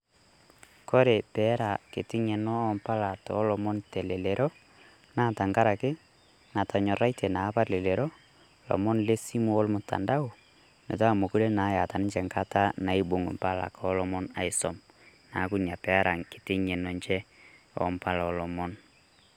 Kore peera ketii ng'eno oompalaa oolomon telelero , naa tang'araki natonyorratie naapa lelero lomon le simu o lmtandao metaa meikoree naa eeta ninchee nkaata naibung' mpaalak olomon aisom. Naaku nia pee era nkitii nge'eno enchee ompala oolomon.